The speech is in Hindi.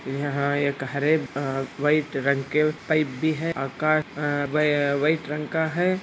यहाँ एक हरे आ वाइट रंग के पाइप भी है अकास आ वाई वाइट रंग का है।